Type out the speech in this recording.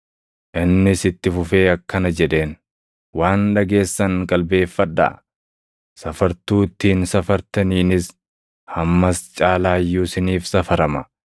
Innis itti fufee akkana jedheen; “Waan dhageessan qalbeeffadhaa. Safartuu ittiin safartaniinis, hammas caalaa iyyuu isiniif safarama.